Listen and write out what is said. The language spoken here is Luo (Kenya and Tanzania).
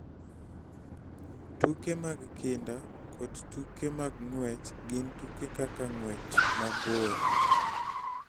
Tuke mag kinda kod tuke mag ng'wech gin tuke kaka ng'wech mabor,